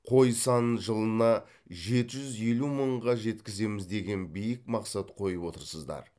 қой санын жылына жеті жүз елу мыңға жеткіземіз деген биік мақсат қойып отырсыздар